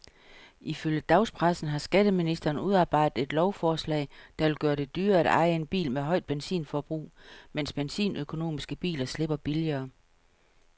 Ifølge dagspressen har skatteministeren udarbejdet et lovforslag, der vil gøre det dyrere at eje en bil med højt benzinforbrug, mens benzinøkonomiske biler slipper billigere.